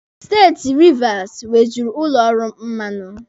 Steeti Rivas nwejuru ụlọ ọrụ mmanụ.